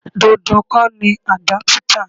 Dandan kọ́ ni àdápútà.